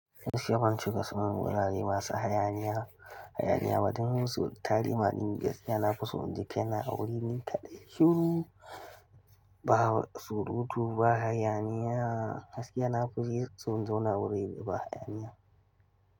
Gaskiya ban cika sanin wurare masu hayaniya, hayaniya ba don musu. So tari ma ni gaskiya nafison inji kaina a wuri nikadai shuru, ba surutu ba hayaniya, gaskiya nafison in zauna a wuri da ba hayaniya.